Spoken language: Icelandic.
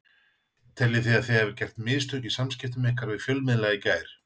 Teljið þið að þið hafið gert mistök í samskiptum ykkar við fjölmiðla í gær?